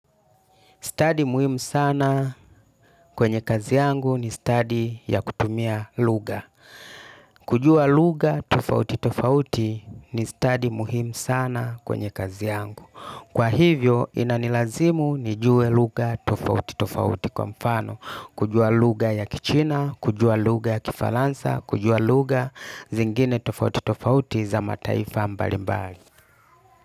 Stadi muhimu sana kwenye kazi yangu ni stadi ya kutumia lugha. Kujua lugha tofauti tofauti ni stadi muhimu sana kwenye kazi yangu. Kwa hivyo inanilazimu nijue lugha tofauti tofauti kwa mfano. Kujua lugha ya Kichina, kujua lugha ya kifalansa, kujua lugha zingine tofauti tofauti za mataifa mbali mbali.